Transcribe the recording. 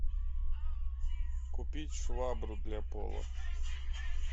купить швабру для пола